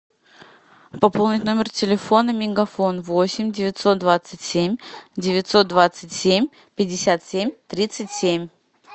пополнить номер телефона мегафон восемь девятьсот двадцать семь девятьсот двадцать семь пятьдесят семь тридцать семь